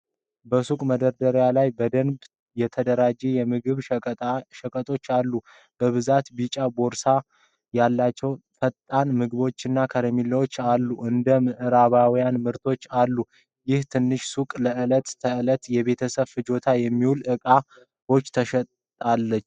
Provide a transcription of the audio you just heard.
በሱቅ መደርደሪያ ላይ በደንብ የተደራጁ የምግብ ሸቀጦች አሉ። በብዛት ቢጫ ቦርሳ ያላቸው ፈጣን ምግቦችና ከረሜላዎችም አሉ። እንደ የምዕራባውያን ምርቶችም አሉ። ይህች ትንሽ ሱቅ ለዕለት ተዕለት የቤተሰብ ፍጆታ የሚሆኑ እቃዎችን ትሸጣለች።